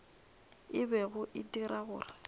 e bego e dira gore